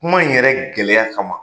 Kuma in yɛrɛ gɛlɛya kama